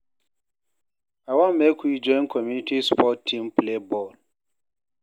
I wan make we join community sport team play ball.